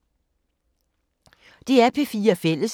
DR P4 Fælles